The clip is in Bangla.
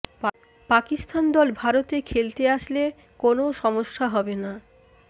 পকিস্তান দল ভারতে খেলতে আসলে কোনও সমস্যা হবে না